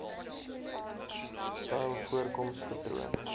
styl voorkoms patroon